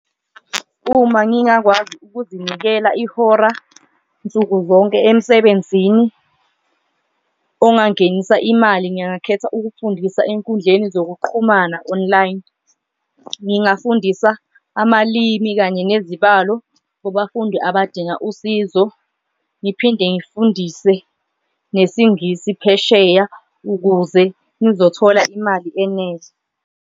Uma ngingakwazi ukuzinikela ihora nsuku zonke emsebenzini ongangenisa imali, ngingakhetha ukufundisa enkundleni zokuqhumana online, ngingafundisa amalimi kanye nezibalo kubafundi abadinga usizo. Ngiphinde ngifundise nesiNgisi phesheya ukuze ngizothola imali eninzi.